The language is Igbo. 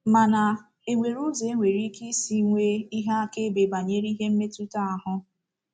Mana, e nwere ụzọ e nwere ike i si nwee ihe akaebe banyere ihe mmetụta ahụ?